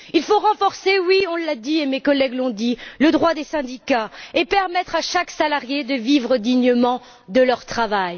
Il faut renforcer, oui, on l'a dit, et mes collègues l'ont dit, le droit des syndicats, et permettre à tous les salariés de vivre dignement de leur travail.